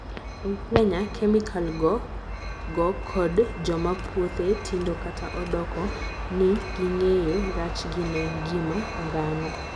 ei Kenya, kemikal go go kod joma puothe tindo kata odoko ni ging'eyo rachgi ne ngima dhano